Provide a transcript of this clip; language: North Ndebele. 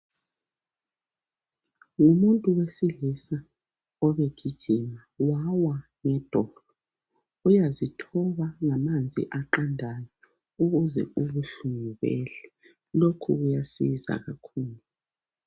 Ngumuntu wesilisa obegijima wawa ngedolo. Uyazithoba ngamanzi aqandayo ukuze ubuhlungu behle. Lokhu kuyasiza kakhulu.